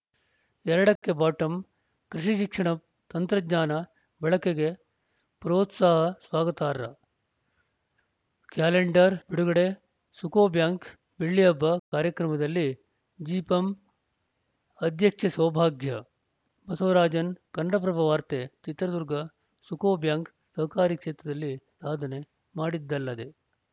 ಎರಡಕ್ಕೆಬಾಟಂ ಕೃಷಿ ಶಿಕ್ಷಣ ತಂತ್ರಜ್ಞಾನ ಬಳಕೆಗೆ ಪ್ರೋತ್ಸಾಹ ಸ್ವಾಗತಾರ್ಹ ಕ್ಯಾಲೆಂಡರ್‌ ಬಿಡುಗಡೆ ಸುಕೋಬ್ಯಾಂಕ್‌ ಬೆಳ್ಳಿಹಬ್ಬ ಕಾರ್ಯಕ್ರಮದಲ್ಲಿ ಜಿಪಂ ಅಧ್ಯಕ್ಷೆ ಸೌಭಾಗ್ಯ ಬಸವರಾಜನ್‌ ಕನ್ನಡಪ್ರಭ ವಾರ್ತೆ ಚಿತ್ರದುರ್ಗ ಸುಕೋ ಬ್ಯಾಂಕ್‌ ಸಹಕಾರಿ ಕ್ಷೇತ್ರದಲ್ಲಿ ಸಾಧನೆ ಮಾಡಿದ್ದಲ್ಲದೆ